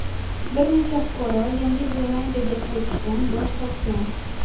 Bir necha fuqaro Yangi Zelandiyaga qaytishdan bosh tortgan.